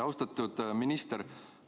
Austatud minister!